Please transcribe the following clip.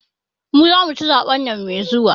mu zamu ci zaben nan mai zuwa.